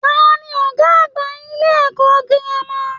Taní ọgá àgbà ilé ẹ̀kọ́ gírámà?